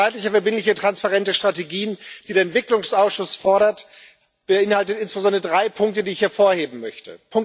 Zeitlich verbindliche transparente Strategien, die der Entwicklungsausschuss fordert, beinhalten insbesondere drei Punkte, die ich hervorheben möchte.